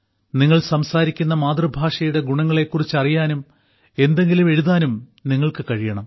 നിങ്ങൾ സംസാരിക്കുന്ന മാതൃഭാഷയുടെ ഗുണങ്ങളെക്കുറിച്ച് അറിയാനും എന്തെങ്കിലും എഴുതാനും നിങ്ങൾക്ക് കഴിയണം